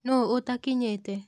Nũũ ũtakinyĩte